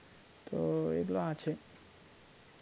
তো এগুলা আছে